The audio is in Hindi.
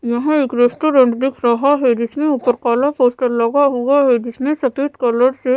यहां एक रेस्टोरेंट दिख रहा है। जिसके ऊपर काला पोस्टर लगा हुआ है। जिसमें सफेद कलर से--